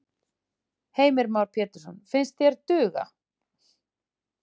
Heimir Már Pétursson: Finnst þér duga?